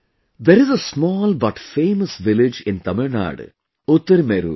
There is a small but famous village in Tamil Nadu Utirmerur